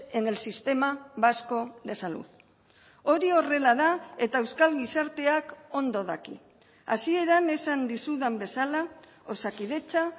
en el sistema vasco de salud hori horrela da eta euskal gizarteak ondo daki hasieran esan dizudan bezala osakidetza